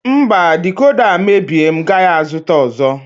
Mba decoda a mebie m agaghị azụta ọzọ.